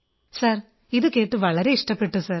sir ഇതുകേട്ട് വളരെ ഇഷ്ടപ്പെട്ടു സർ